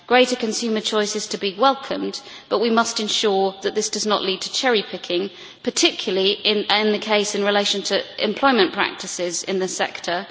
Greater consumer choice is to be welcomed, but we must ensure that this does not lead to cherry picking, particularly in relation to employment practices in the sector.